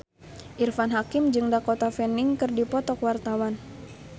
Irfan Hakim jeung Dakota Fanning keur dipoto ku wartawan